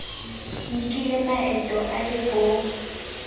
nkile maeto e le bo